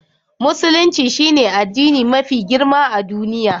Musulunci shine addini mafi girma a duniya.